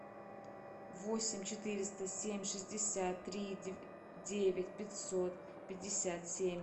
восемь четыреста семь шестьдесят три девять пятьсот пятьдесят семь